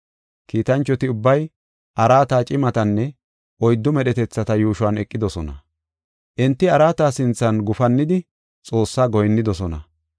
Kiitanchoti ubbay araata, cimatanne oyddu medhetethata yuushuwan eqidosona. Enti araata sinthan gufannidi Xoossaa goyinnidosona.